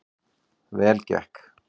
Vel gekk